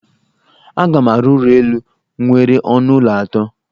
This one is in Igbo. Aga m arụ ụlọ elụ nwere ọnụ ụlọ atọ.